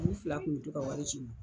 U fila tun t'u ka wari sɔrɔ.